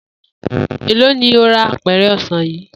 Èló ni o ra apè̩rè̩ o̩sàn yìí?